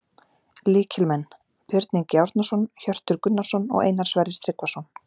Lykilmenn: Björn Ingi Árnason, Hjörtur Gunnarsson og Einar Sverrir Tryggvason